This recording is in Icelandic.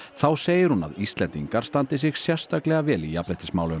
þá segir hún að Íslendingar standi sig sérstaklega vel í jafnréttismálum